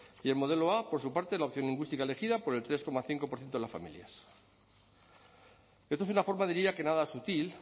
y el modelo a por su parte es la opción lingüística elegida por el tres coma cinco por ciento de las familias esto es una forma diría que nada sutil